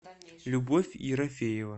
любовь ерофеева